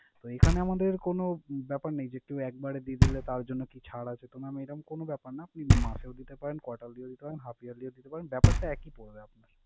তো এইখানে আমাদের কোন ব্যাপার নেই যে, কেউ একবারে দিয়ে দিলে তার জন্য কি ছাড় আছে। তো mam এরম কোন ব্যাপার না। আপনি মাসেও দিতে পারেন, quarterly ও দিতে পারেন, half yearly ও দিতে পারবেন ব্যাপারটা একি পরবে আপনার।